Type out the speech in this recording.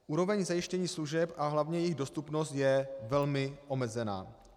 Úroveň zajištění služeb a hlavně jejich dostupnost je velmi omezená.